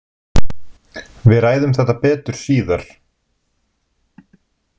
Við ræðum þetta betur síðar